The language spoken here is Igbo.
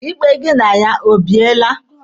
Ikpe gị na ya o biele?